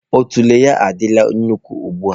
Otule ya adịla nnukwu ugbu a.